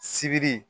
Sibiri